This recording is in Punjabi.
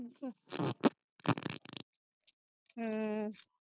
ਹੂ